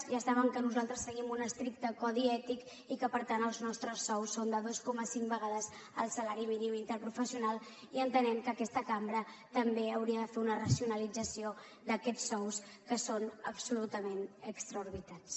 ja saben que nosaltres seguim un estricte codi ètic i que per tant els nostres sous són de dos coma cinc vegades el salari mínim interprofessional i entenem que aquesta cambra també hauria de fer una racionalització d’aquests sous que són absolutament desorbitats